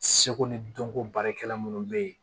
Seko ni dɔnko baarakɛla minnu bɛ yen